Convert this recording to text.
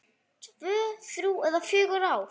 Tvö, þrjú eða fjögur ár?